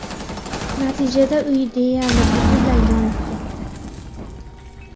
Natijada uy deyarli butunlay yonib ketdi.